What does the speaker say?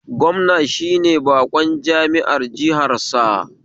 Gwamna shine baƙon jami'ar jihansa